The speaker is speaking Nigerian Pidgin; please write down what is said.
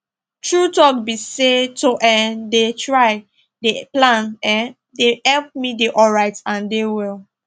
true talk be say to um dey try dey plan[um]dey help me dey alright and dey well